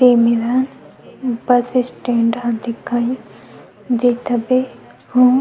बेमिराह ऊपर से स्टैंड ह दिखाई देत हवे और --